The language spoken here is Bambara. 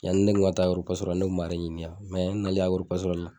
Yani ne kun ka taa agororo pasitorali la ne kun b'ale ɲini yan mɛ n nalen agoro pasorali la